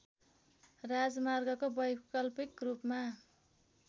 राजमार्गको वैकल्पिक रूपमा